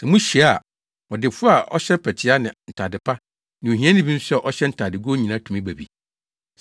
Sɛ muhyia a, ɔdefo a ɔhyɛ mpɛtea ne ntade pa ne ohiani bi nso a ɔhyɛ ntadegow nyinaa tumi ba bi.